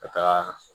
Ka taa